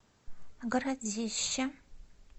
городище